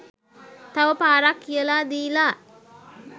තව පාරක් කියලා දීලා